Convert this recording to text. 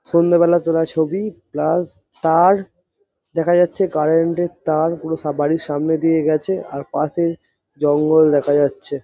সন্ধে বেলা তোলা ছবি প্লাস তার দেখা যাচ্ছে কারেন্ট এর তার বাড়ির পুরো সামনে দিয়ে গেছে আর পশে জঙ্গল দেখা যাচ্ছে।